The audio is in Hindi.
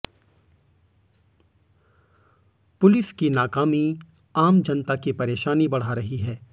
पुलिस की नाकामी आम जनता की परेशानी बढ़ा रही है